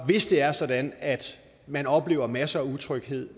hvis det er sådan at man oplever masser af utryghed